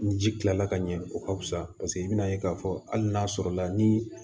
Ni ji kilala ka ɲɛ o ka fisa paseke i bɛna ye k'a fɔ hali n'a sɔrɔla ni